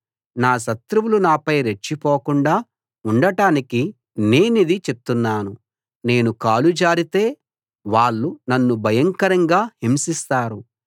నా శత్రువులు నాపై రెచ్చిపోకుండా ఉండటానికి నేనిది చెప్తున్నాను నేను కాలు జారితే వాళ్ళు నన్ను భయంకరంగా హింసిస్తారు